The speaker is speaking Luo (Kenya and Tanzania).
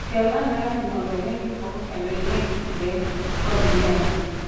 Kel ane rang'i mondo ine gik moko kendo ing'e kit le kod yiende.